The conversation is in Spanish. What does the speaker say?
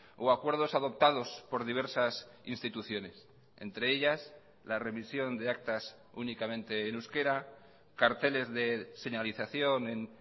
o acuerdos adoptados por diversas instituciones entre ellas la remisión de actas únicamente en euskera carteles de señalización en